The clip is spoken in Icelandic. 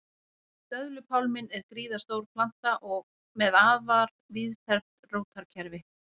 Döðlupálminn er gríðarstór planta með afar víðfeðmt rótarkerfi.